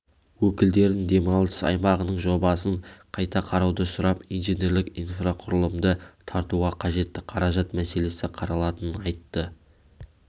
өкілдерін демалыс аймағының жобасын қайта қарауды сұрап инженерлік инфрақұрылымды тартуға қажетті қаражат мәселесі қаралатынын айтты